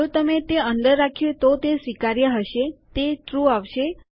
જો તમે તે અંદર રાખ્યું તો તે સ્વીકાર્ય હશે તે ટ્રૂ આવશે